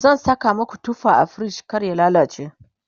zan Saka maku tufa a frij kar ya lallace